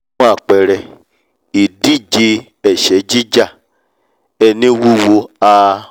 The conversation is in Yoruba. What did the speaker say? fún àpẹrẹ – ìdíje ẹ̀ṣẹ́ jíjà – ẹni wúwo a